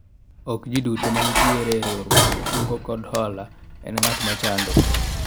ok jii duto manitiere e riwruog kungo kod hola en ng'at mochando